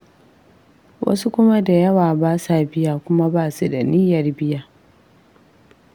Wasu kuma da yawa ba sa biya kuma ba su da niyyar biya.